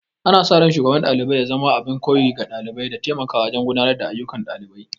Ana sa ran Shugaban ɗalibai ya zama abin koyi ga ɗalibai, da taimaka wajen gudanar da ayyukan ɗalibai.